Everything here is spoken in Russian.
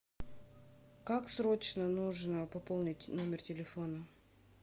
как срочно нужно пополнить номер телефона